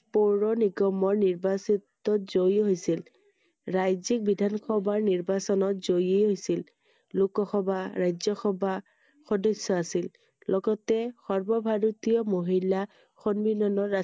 পৌৰনিগমৰ নিৰ্বাচিতত জয়ী হৈছিল Iৰাজ্য়িক বিধানসভা নিৰ্বাচনত জয়ী হৈছিল I লোকসভা, ৰাজ্য়সভা সদস্য় আছিল I লগতে সৰ্ব ভাৰতীয় মহিলা সন্মিলনৰ ৰাষ্ট্ৰ